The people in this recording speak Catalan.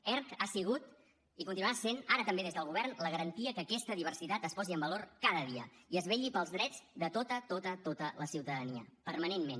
erc ha sigut i continuarà sent ara també des del govern la garantia que aquesta diversitat es posi en valor cada dia i es vetlli pels drets de tota tota tota la ciutadania permanentment